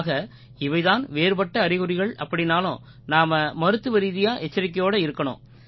ஆக இவை தான் வேறுபட்ட அறிகுறிகள் அப்படீன்னாலும் நாம மருத்துவரீதியா எச்சரிக்கையோடு இருக்கணும்